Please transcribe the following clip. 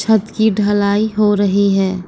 छत की ढलाई हो रही है।